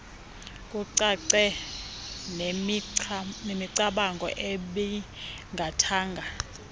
kucace nemicamango ebingathanga